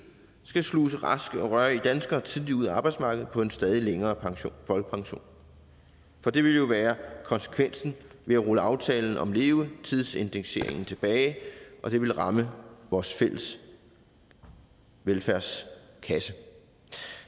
skal sluse raske og rørige danskere tidligt ud af arbejdsmarkedet på en stadig længere folkepension for det ville jo være konsekvensen ved at rulle aftalen om levetidsindekseringen tilbage og det ville ramme vores fælles velfærdskasse